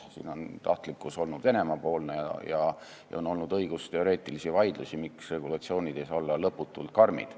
Siin on tahtlikkus olnud Venemaa-poolne ja on olnud õigusteoreetilisi vaidlusi, miks regulatsioonid ei saa olla lõputult karmid.